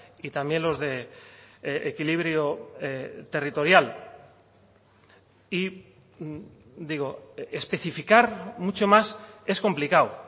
y también los de equilibrio territorial y digo especificar mucho más es complicado